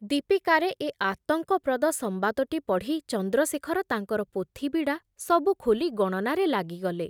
ଦୀପିକାରେ ଏ ଆତଙ୍କପ୍ରଦ ସମ୍ବାଦଟି ପଢ଼ି ଚନ୍ଦ୍ରଶେଖର ତାଙ୍କର ପୋଥି ବିଡ଼ା ସବୁ ଖୋଲି ଗଣନାରେ ଲାଗିଗଲେ ।